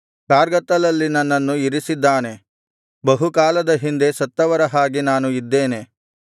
ಕಾರ್ಗತ್ತಲಲ್ಲಿ ನನ್ನನ್ನು ಇರಿಸಿದ್ದಾನೆ ಬಹುಕಾಲದ ಹಿಂದೆ ಸತ್ತವರ ಹಾಗೆ ನಾನು ಇದ್ದೇನೆ